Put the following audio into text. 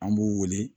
An b'u wele